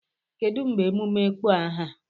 Kedu mgbe emume ịkpọ aha?